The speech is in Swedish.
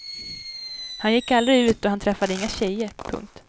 Han gick aldrig ut och han träffade inga tjejer. punkt